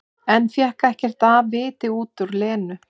En fékk ekkert af viti út úr Lenu.